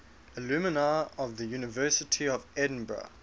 alumni of the university of edinburgh